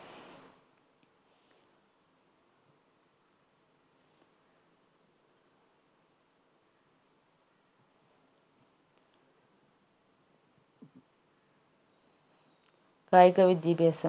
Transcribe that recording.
കായിക വിദ്യാഭ്യാസം